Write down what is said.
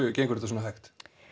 gengur þetta svona hægt